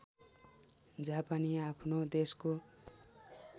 जापानी आफ्नो देशको